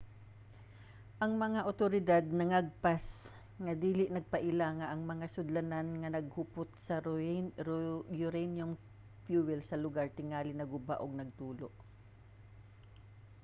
ang mga awtoridad nangagpas nga kini nagpaila nga ang mga sudlanan nga naghupot sa uranium fuel sa lugar tingali naguba ug nagtulo